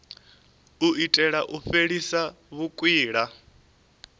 u itela u fhelisa vhukwila